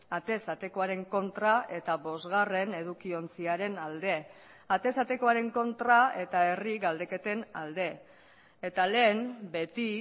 atez atekoaren kontra eta bosgarren edukiontziaren alde atez atekoaren kontra eta herri galdeketen alde eta lehen beti